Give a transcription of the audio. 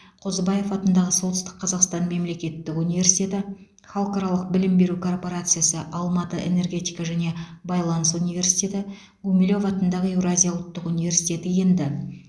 қозыбаев атындағы солтүстік қазақстан мемлекеттік университеті халықаралық білім беру корпорациясы алматы энергетика және байланыс университеті гумилев атындағы еуразия ұлттық университеті енді